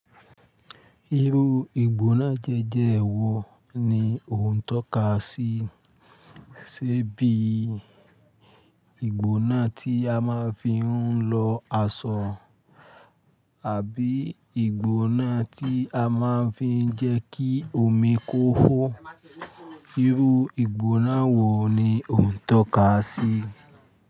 Irú ìgbóná diẹ́diẹ́ wo ni òun tó ka sí? Ṣé bí ìgbóná tí a máa ń fi ń lọ aṣọ, àbí ìgbóná tí a máa ń fi ń jẹ́ kí omi kó hó? Irú ìgbóná wo ni òun tó ka sí?